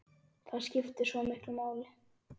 Það skiptir svo miklu máli.